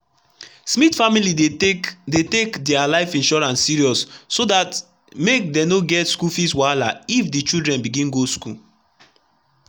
smith family dey take dey take their life insurance seriousso dt make do no get school fees wahala if the children begin go school.